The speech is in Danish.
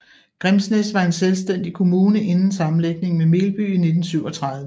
Grimsnæs var en selvstændig kommune inden sammenlægning med Melby i 1937